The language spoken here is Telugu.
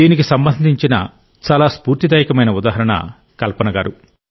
దీనికి సంబంధించిన చాలా స్పూర్తిదాయకమైన ఉదాహరణ కల్పన గారు